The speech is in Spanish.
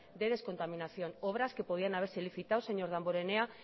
de descontaminación obras que podían haberse licitado señor damborenea